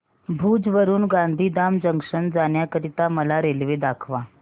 भुज वरून गांधीधाम जंक्शन जाण्या करीता मला रेल्वे दाखवा